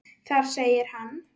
Þar segir hann